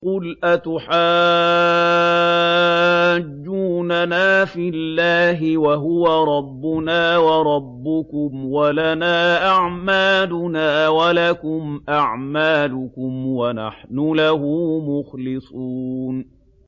قُلْ أَتُحَاجُّونَنَا فِي اللَّهِ وَهُوَ رَبُّنَا وَرَبُّكُمْ وَلَنَا أَعْمَالُنَا وَلَكُمْ أَعْمَالُكُمْ وَنَحْنُ لَهُ مُخْلِصُونَ